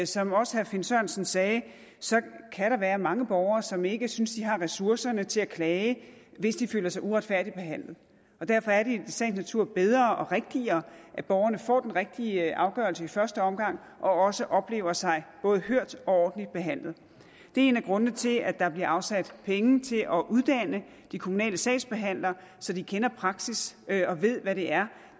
som også herre finn sørensen sagde være mange borgere som ikke synes de har ressourcerne til at klage hvis de føler sig uretfærdigt behandlet derfor er det i sagens natur bedre og rigtigere at borgerne får den rigtige afgørelse i første omgang og også oplever sig både hørt og ordentligt behandlet det er en af grundene til at der bliver afsat penge til at uddanne de kommunale sagsbehandlere så de kender praksis og ved hvad det er